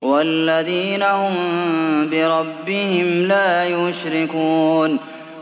وَالَّذِينَ هُم بِرَبِّهِمْ لَا يُشْرِكُونَ